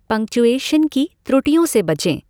Punctuation की त्रुटियों से बचें।